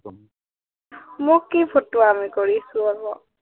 মই কি ফটুৱামি কৰিছো আক?